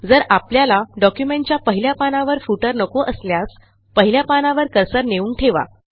जर आपल्याला डॉक्युमेंटच्या पहिल्या पानावर फुटर नको असल्यास पहिल्या पानावर कर्सर नेऊन ठेवा